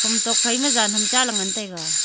hom tok phai ma jan ham cha ley ngan taiga.